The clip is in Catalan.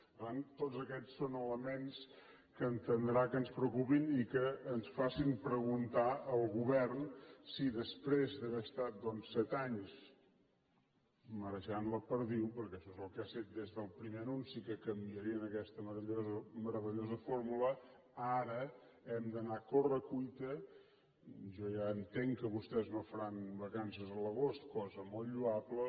per tant tots aquests són elements que entendrà que ens preocupin i que ens facin preguntar al govern si després d’haver estat doncs set anys marejant la perdiu perquè això és el que ha set des del primer anunci que canviarien aquesta meravellosa fórmula ara hem d’anar a corre cuita jo ja entenc que vostès no faran vacances a l’agost cosa molt lloable